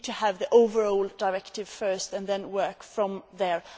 We need to have the overall directive first and then work from there.